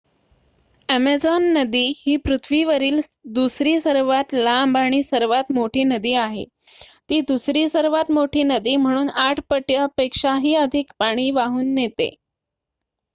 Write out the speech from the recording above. Amazon नदी ही पृथ्वीवरील दुसरी सर्वात लांब आणि सर्वात मोठी नदी आहे. ती दुसरी सर्वात मोठी नदी म्हणून ८ पटापेक्षाही अधिक पाणी वाहून नेते